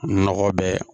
Nɔgɔ bɛɛ